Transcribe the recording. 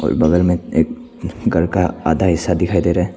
बगल मे एक घर का आधा हिस्सा दिखाई दे रहा है।